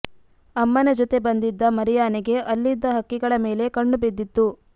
ಅಮ್ಮನ ಜೊತೆ ಬಂದಿದ್ದ ಮರಿಯಾನೆಗೆ ಅಲ್ಲಿದ್ದ ಹಕ್ಕಿಗಳ ಮೇಲೆ ಕಣ್ಣು ಬಿದ್ದಿತ್ತು